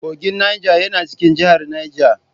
Kogin Niger yana cikin jihar Neja.